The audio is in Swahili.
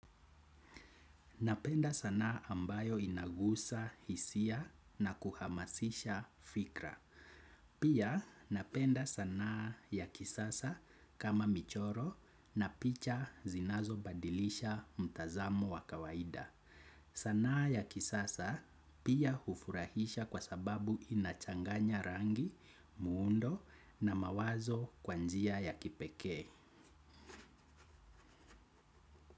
Napenda sanaa ambayo inagusa hisia na kuhamasisha fikra. Pia napenda sanaa ya kisasa kama michoro na picha zinazobadilisha mtazamo wa kawaida. Sanaa ya kisasa pia hufurahisha kwa sababu inachanganya rangi muundo na mawazo kwa njia ya kipekee.